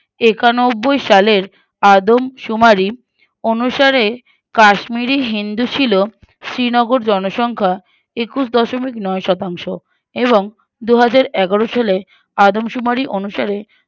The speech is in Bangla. একানব্বই সালের আদমশুমারি অনুসারে কাশ্মীরি হিন্দু ছিল শ্রীনগর জনসংখ্যা একুশ দশমিক নয় শতাংশ এবং দুহাজারএগারো সালে আদমশুমারি অনুসারে